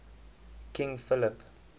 king philip